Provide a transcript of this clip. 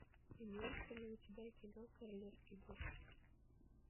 имеется ли у тебя кино королевский госпиталь